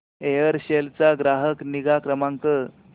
Aircel चा ग्राहक निगा क्रमांक